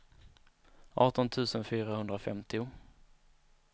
arton tusen fyrahundrafemtio